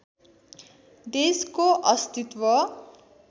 देशको अस्तित्व